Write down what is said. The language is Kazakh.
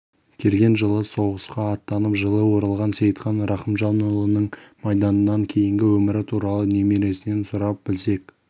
келген жылы соғысқа аттанып жылы оралған сейітхан рахымжанұлының майданнан кейінгі өмірі туралы немересінен сұрап білсек